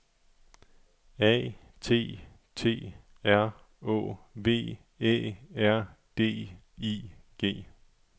A T T R Å V Æ R D I G